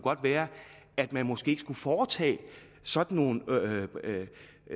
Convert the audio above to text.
være at man måske ikke skulle foretage sådan nogle